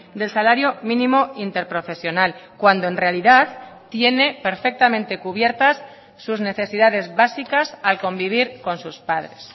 del salario mínimo interprofesional cuando en realidad tiene perfectamente cubiertas sus necesidades básicas al convivir con sus padres